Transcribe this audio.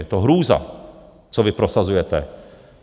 Je to hrůza, co vy prosazujete.